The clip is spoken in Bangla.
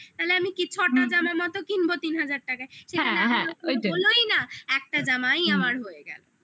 ছটা জামার মতো কিনবো তিন হাজার টাকায় বোলোই না একটা জামাই আমার হয়ে গেলো